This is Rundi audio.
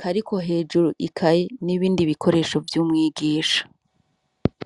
kariko hejuru ikaye n'ibindi bikoresho vy'umwigisha.